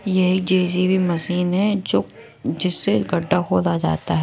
यही JCB machine है जो जिससे गड्ढा खोदा जाता है।